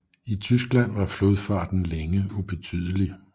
I Tyskland var flodfarten længe ubetydelig